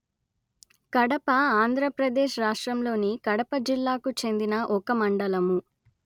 కడప ఆంధ్ర ప్రదేశ్ రాష్ట్రములోని కడప జిల్లాకు చెందిన ఒక మండలము